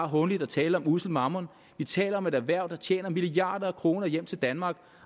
hånligt at tale om ussel mammon vi taler om et erhverv der tjener milliarder af kroner hjem til danmark